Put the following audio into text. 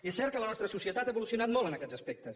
és cert que la nostra societat ha evolucionat molt en aquests aspectes